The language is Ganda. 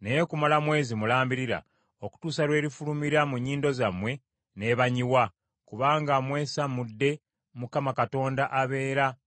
naye kumala mwezi mulambirira, okutuusa lw’erifulumira mu nnyindo zammwe n’ebanyiwa, kubanga mwesamudde Mukama Katonda abeera mu mmwe,